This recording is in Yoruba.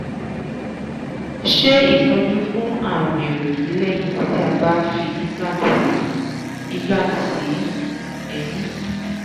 ṣe itọju fún àrùn erigi lẹ́yìn ti a ba fi implant si fi implant si eyín